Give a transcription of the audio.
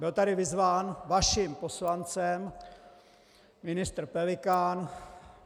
Byl tady vyzván vaším poslancem ministr Pelikán.